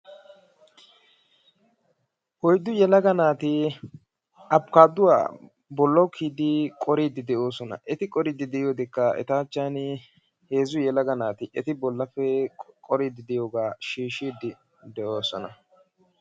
Oyddu yelaga naati Afikaadduwa bollawu kiyidi qoriiddi de'oosona. Eti qoriiddi de'iyodekka eta achchan heezzu yelaga naati eti qoriiddi de'iyogaa shiishshiiddi de'oosona.